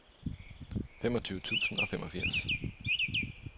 femogtyve tusind og femogfirs